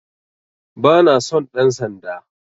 Bana son ɗan sanda